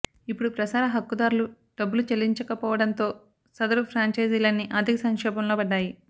ఇప్పుడు ప్రసార హక్కుదారులు డబ్బులు చెల్లించలేకపోవడంతో సదరు ఫ్రాంఛైజీలన్నీ ఆర్థిక సంక్షోభంలో పడ్డాయి